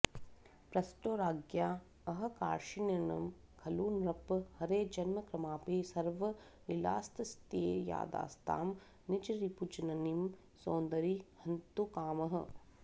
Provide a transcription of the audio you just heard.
पृष्टो राज्ञाऽऽह कार्ष्णिर्न खलु नृप हरे जन्म कर्मापि सर्वं लीलास्तस्यैतदास्तां निजरिपुजननीं सोदरीं हन्तुकामः